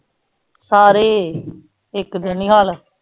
ਸਾਰੇ ਇਕ ਤ ਦਾ ਨੀ ਹਾਲ